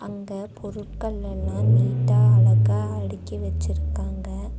இங்க பொருட்கள் எல்லாம் நீட்டா அழகா அடுக்கி வச்சிருக்காங்க.